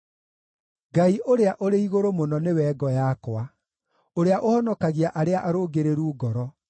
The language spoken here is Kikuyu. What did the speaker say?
Ngai-Ũrĩa-ũrĩ-Igũrũ-Mũno nĩwe ngo yakwa, ũrĩa ũhonokagia arĩa arũngĩrĩru ngoro.